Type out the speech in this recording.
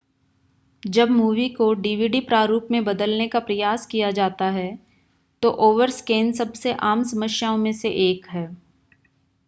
जब मूवी को डीवीडी प्रारूप में बदलने का प्रयास किया जाता है तो ओवरस्कैन सबसे आम समस्याओं में से एक है